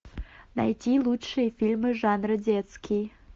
найти лучшие фильмы жанра детский